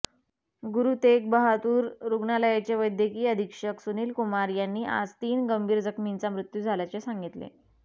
गुरु तेग बहादूर रुग्णालयाचे वैद्यकीय अधीक्षक सुनीलकुमार यांनी आज तीन गंभीर जखमींचा मृत्यू झाल्याचे सांगितले